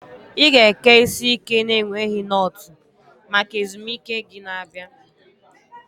Ị ga-eke isi ike na-enweghị knotu maka ezumike gị na-abịa.